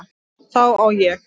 Þá á ég